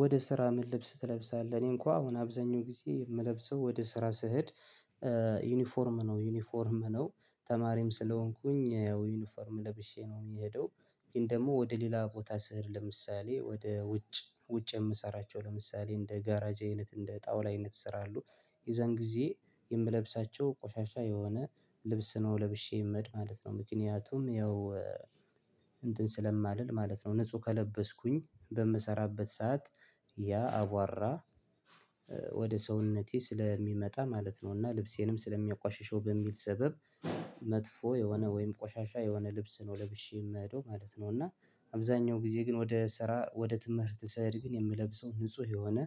ወደ ስራ ምን? ልብስ ትለብሳለህ እኔ እንኳን አሁን አብዛኛው ጊዜ የምለብሰው ወደ ስራ ስሄድ። ዩኒፎርም ነው ዩኒፎርም ነው ተማሪም ስለሆንኩኝ ያው ዩኒፎርም ለብሼ ነው የምሄደው። ግን ደግሞ ወደ ሌላ ቦታ ስሄድ ለምሳሌ ወደ ውጭ ውጭ የምሰራቸው ለምሳሌ እንደ ጋራጅ አይነት እንደ ጣውላ አይነት ስራ አሉ። የዛን ጊዜ የምለብሳቸው ቆሻሻ የሆነ ልብስ ነው ለብሼ እምሄድ ማለት ነው። ምክንያቱም ያው እንትን ስለማልል ማለት ነው ንጹህ ከለበስኩኝ በምሰራበት ሰዓት ያ አቧራ ወደ ሰውነቴ ስለሚመጣ ማለት ነው። እና ልብሴንም ስለሚያቋሽሸው በሚል ሰበብ መጥፎ የሆነ ወይም ቆሻሻ የሆነ ልብስ ነው ለብሼ የምሄደው ማለት ነው። እና አብዛኛው ጊዜ ግን ወደ ስራ ወደ ትምህርት ስሄድ ግን የምለብሰው ንጹህ የሆነ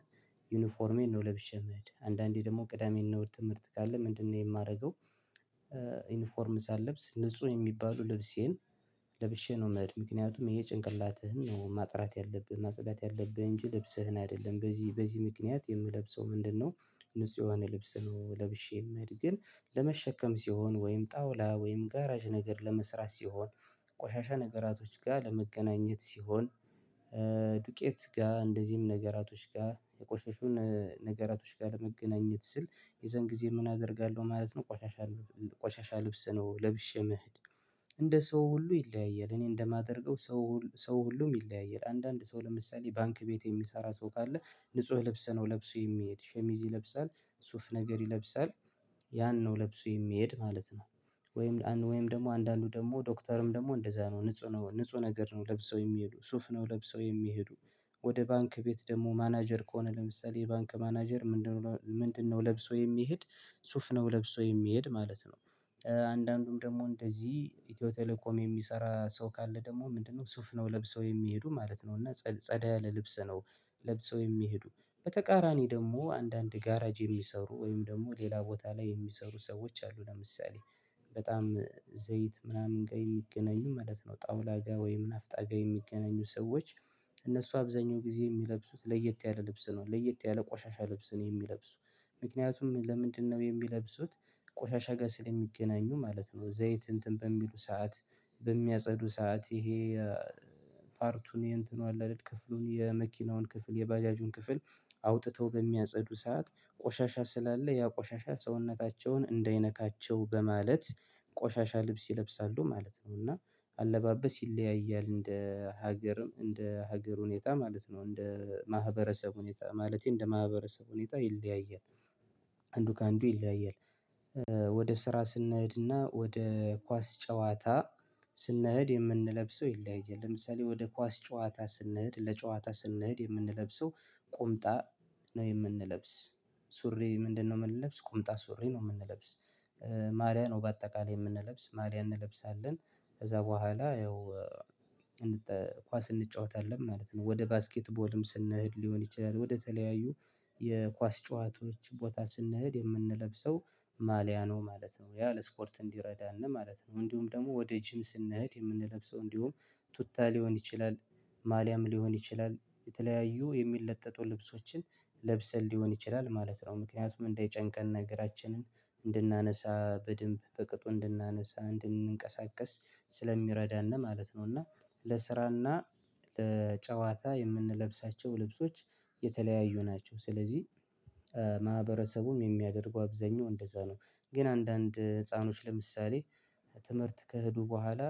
ዩኒፎርሜን ነው ለብሼ የምሄድ አንዳንዴ ደግሞ ቅዳሜ እና እሁድ ትምህርት ካለ ምንድነው የማደርገው? ዩኒፎርም ሳለብስ ንጹህ የሚባሉ ልብሴን ለብሼ ነው። እምሄድ ምክንያቱም ይሄ ጭንቅላትህን ነው ማጥራት ያለብህ ማጸዳት ያለብህ እንጂ ልብስህን አይደለም በዚህ በዚህ ምክንያት የምለብሰው ምንድነው? ንጹህ የሆነ ልብስ ነው ለብሼም እምሄድ። ግን ለመሸከም ሲሆን ወይም ጣውላ ወይም ጋራዥ ነገር ለመስራት ሲሆን ቆሻሻ ነገራቶች ጋር ለመገናኘት ሲሆን ዱቄት ጋር እንደዚህም ነገራቶች ጋር የቆሸሹን ነገራቶች ጋር ለመገናኘት ስል የዛን ጊዜ ምን አደርጋለሁ ማለት ነው። ቆሻሻ ቆሻሻ ልብስ ነው ለብሼ እምሄድ። እንደ ሰው ሁሉ ይለያያል እኔ እንደማደርገው ሰው ሰው ሁሉም ይለያያል አንዳንድ ሰው ለምሳሌ ባንክ ቤት የሚሰራ ሰው ካለ ንጹህ ለብሰህ ነው ለብሶ የሚሄድ ሸሚዝ ይለብሳል ሱፍ ነገር ይለብሳል ያን ነው ለብሶ የሚሄድ ማለት ነው። ወይም ወይም ደግሞ አንዳንዱ ደግሞ ዶክተርም ደግሞ እንደዛ ነው ንጹህ ነገር ነው ለብሶ የሚሄዱ ሱፍ ነው ለብሰው የሚሄዱ ወደ ባንክ ቤት ደግሞ ማናጀር ከሆነ ለምሳሌ የባንክ ማናጀር ምንድነው ለብሶው የሚሄድ? ሱፍ ነው ለብሶ የሚሄድ ማለት ነው። አንዳንዱም ደግሞ እንደዚህ ኢትዮ ቴሌኮም የሚሰራ ሰው ካለ ደግሞ ምንድነው ሱፍ ነው ለብሰው የሚሄዱ ማለት ነው። እና ጸዳ ያለ ልብስ ነው ለብሰው የሚሄዱ በተቃራኒ ደግሞ አንዳንድ ጋራጅ የሚሰሩ ወይም ደግሞ ሌላ ቦታ ላይ የሚሰሩ ሰዎች አሉ ለምሳሌ በጣም ዘይት ምናምን ጋር የሚገናኙ ማለት ነው። ጣውላ ጋር ወይም ናፍጣ ጋር የሚገናኙ ሰዎች እነሱ አብዛኛው ጊዜ የሚለብሱት ለየት ያለ ልብስ ነው ለየት ያለ ቆሻሻ ልብስ ነው የሚለብሱ። ምክንያቱም ለምንድነው የሚለብሱት? ቆሻሻ ጋር ስለሚገናኙ ማለት ነው ዘይት እንትን በሚሉ ሰዓት በሚያጸዱ ሰዓት ይሄ ፓርቱን የእንትኑ አለ አደል ክፍሉን የመኪናውን ክፍል የባጃጁን ክፍል አውጥተው በሚያጸዱ ሰዓት ቆሻሻ ስላለ ያ ቆሻሻ ሰውነታቸውን እንዳይነካቸው በማለት ቆሻሻ ልብስ ይለብሳሉ ማለት ነው። እና አለባበስ ይለያያል እንደ ሀገርም እንደ ሀገር ሁኔታ ማለት ነው እንደ ማህበረሰብ ሁኔታ ማለቴ እንደ ማህበረሰብ ሁኔታ ይለያያል። አንዱ ከአንዱ ይለያያል። ወደ ስራ ስንሄድና ወደ ኳስ ጨዋታ ስንሄድ የምንለብሰው ይለያያል ለምሳሌ ወደ ኳስ ጨዋታ ስንሄድ ለጨዋታ ስንሄድ የምንለብሰው ቁምጣ የምንለብስ ሱሬ ምንድነው የምንለብስ ቁምጣ ሱሬ ነው የምንለብስ ማልያ ነው በአጠቃላይ የምንለብስ ማልያ እንለብሳለን። ከዛ በኋላ ያው ኳስ እንጫወታለን ማለት ነው። ወደ ባስኬትቦልም ስንሄድ ሊሆን ይችላል ወደተለያዩ የኳስ ጨዋታዎች ቦታ ስንሄድ የምንለብሰው ማልያ ነው ማለት ነው። ያ ለስፖርት እንዲረዳን ማለት ነው። እንዲሁም ደግሞ ወደ ጂም ስንሄድ የምንለብሰው እንዲሁም ቱታ ሊሆን ይችላል ማሊያም ሊሆን ይችላል የተለያዩ የሚለጠጡ ልብሶችን ለብሰን ሊሆን ይችላል ማለት ነው ምክንያቱም እንዳይጨንቀን እገራችንን እንድናነሳ በደንብ በቅጡ እንድናነሳ እንድንቀሳቀስ ስለሚረዳን ነው ማለት ነው። እና ለስራና ለጨዋታ የምንለብሳቸው ልብሶች የተለያዩ ናቸው። ስለዚህ ማህበረሰቡም የሚያደርጉ አብዛኛው እንደዛ ነው። ግን አንዳንድ ህፃኖች ለምሳሌ ትምህርት ከሄዱ በኋላ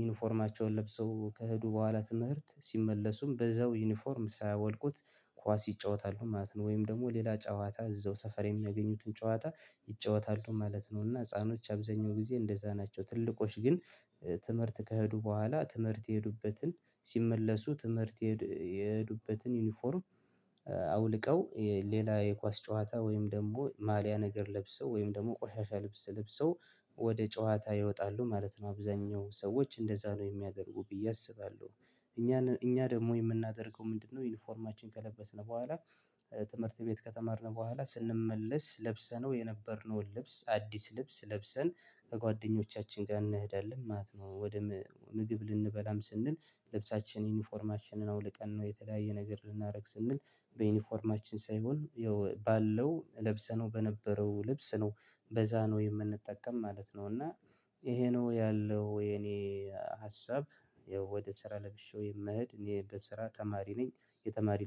ዩኒፎርማቸውን ለብሰው ከሄዱ በኋላ ትምህርት ሲመለሱም በዛው ዩኒፎርም ሳያወልቁት ኳስ ይጫወታሉ ማለት ነው። ወይም ደግሞ ሌላ ጨዋታ እዛው ሰፈር የሚያገኙትን ጨዋታ ይጫወታሉ ማለት ነው። እና ህፃኖች አብዛኛው ጊዜ እንደዛ ናቸው። ትልቆች ግን ትምህርት ከሄዱ በኋላ ትምህርት የሄዱበትን ሲመለሱ ትምህርት የሄዱበትን ዩኒፎርም አውልቀው ሌላ የኳስ ጨዋታ ወይም ደግሞ ማሊያ ነገር ለብሰው ወይም ደግሞ ቆሻሻ ልብስ ልብሰው ወደ ጨዋታ ይወጣሉ ማለት ነው። አብዛኛው ሰዎች እንደዛ ነው የሚያደርጉ ብዬ አስባለሁ። እኛ እኛ ደግሞ የምናደርገው ምንድነው? ዩኒፎርማችን ከለበስን በኋላ ትምህርት ቤት ከተማርን በኋላ ስንመለስ ለብሰነው የነበርነውን ልብስ አዲስ ልብስ ለብሰን ከጓደኞቻችን ጋር እንሄዳለን ማለት ነው። ወደ ምግብ ልንበላም ስንል ልብሳችን ዩኒፎርማችንን አውልቀን ነው የተለያየ ነገር ልናረግ ስንል በዩኒፎርማችን ሳይሆን ያው ባለው ለብሰነው በነበረው ልብስ ነው በዛ ነው የምንጠቀም ማለት ነው። እና ይሄ ነው ያለው የኔ ሀሳብ። ወደ ስራ ለብሼ የምሄድ እኔ በስራ ተማሪ ነኝ። የተማሪ